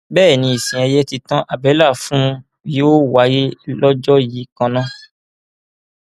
bẹẹ ni ìsìn ẹyẹ títan àbẹlà fún un yóò wáyé lọjọ yìí kan náà